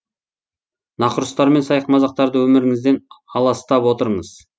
нақұрыстар мен сайқымазақтарды өміріңізден аластап отырыңыз